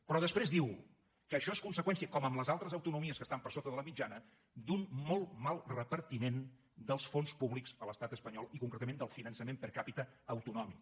però després diu que això és conseqüència com en les altres autonomies que estan per sota de la mitjana d’un molt mal repartiment dels fons públics a l’estat espanyol i concretament del finançament per capita autonòmic